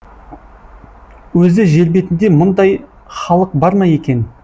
өзі жербетінде мұндай халық бар ма екен